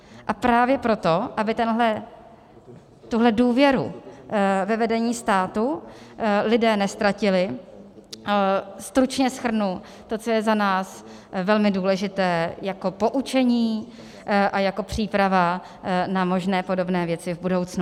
A právě proto, aby tuhle důvěru ve vedení státu lidé neztratili, stručně shrnu to, co je za nás velmi důležité jako poučení a jako příprava na možné podobné věci v budoucnu.